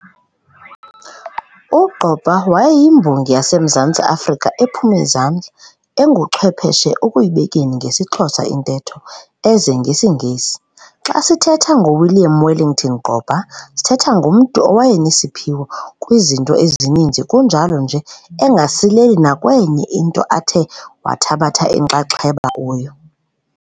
U-Gqoba wayeyiMbongi yaseMzantsi Afrika ephum'izandla, enguchwepheshe ekuyibekeni ngesiXhosa intetho eze ngesiNgesi. Xa sithetha ngoWilliam Wellington Gqoba sithetha ngomntu owayenesiphiwo kwizinto ezininzi kunjalo nje engasileli nakwenye into athe wathabatha inxaxheba kuyo.